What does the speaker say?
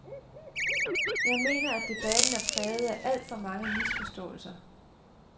Jeg mener, at debatten er præget af alt for mange misforståelser.